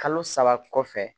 Kalo saba kɔfɛ